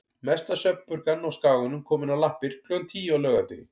Mesta svefnpurkan á Skaganum komin á lappir klukkan tíu á laugardegi.